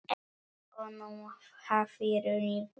Honum hafði runnið í brjóst.